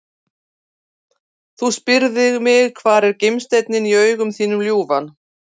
Þú spyrð mig hvar er gimsteinninn í augum þínum ljúfan?